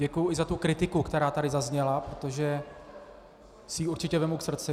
Děkuju i za tu kritiku, která tady zazněla, protože si ji určitě vezmu k srdci.